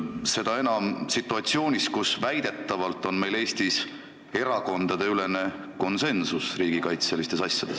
See on seda enam kummaline, et väidetavalt on meil Eestis erakondadeülene konsensus riigikaitselistes asjades.